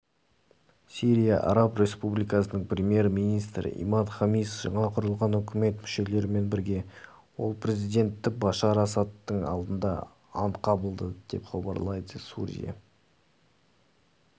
сирия араб республикасының премьер-министрі имад хамис жаңа құрылған үкімет мүшелерімен бірге ел президенті башар асадтың алдында ант қабылдады деп хабарлайды сурия